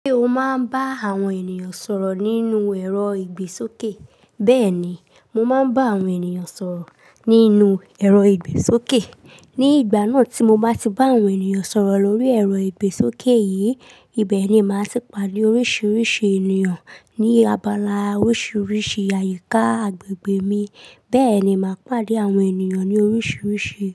Ṣé o máa ń bá àwọn ènìyàn sọ̀rọ̀ nínú ẹ̀rọ ìgbésókè? Bẹ́ẹ̀ ni, mo máa ń bá àwọn ènìyàn sọ̀rọ̀ nínú ẹ̀rọ ìgbésókè. Ni ìgbà náà tí mo bá ti bá àwọn ènìyàn sọ̀rọ̀ lórí ẹ̀rọ ìgbésókè yìí, ibẹ̀ ni màá ti pàdé oríṣiríṣi ènìyàn ní abala oríṣiríṣi àyíká agbègbè mi, bẹ́ẹ̀ ni màá pàdé àwọn ènìyàn ní oríṣiríṣi.